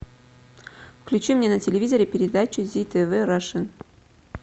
включи мне на телевизоре передачу зи тв раша